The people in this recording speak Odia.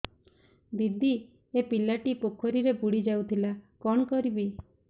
ଦିଦି ଏ ପିଲାଟି ପୋଖରୀରେ ବୁଡ଼ି ଯାଉଥିଲା କଣ କରିବି